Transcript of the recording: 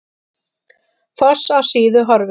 Foss á Síðu horfinn